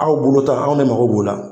Aw bolo ta anw ne mago b'o la